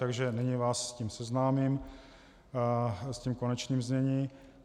Takže nyní vás s tím seznámím, s tím konečným zněním.